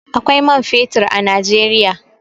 Akwai man fetur a Najeriya.